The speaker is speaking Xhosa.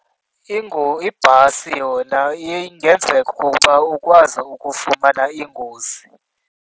Ibhasi yona ingenzeka ukuba ukwazi ukufumana ingozi.